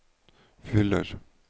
fyller